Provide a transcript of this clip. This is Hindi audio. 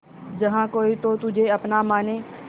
जहा कोई तो तुझे अपना माने